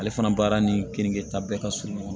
Ale fana baara ni keninge ta bɛɛ ka surun ɲɔgɔn na